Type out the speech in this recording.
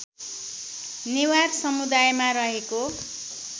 नेवार समुदायमा रहेको